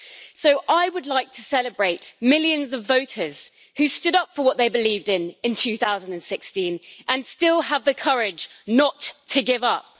So I would like to celebrate millions of voters who stood up for what they believed in in 2016 and still have the courage not to give up.